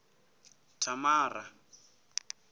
thamara